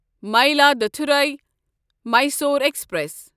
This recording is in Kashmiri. مایلادتھوری میصور ایکسپریس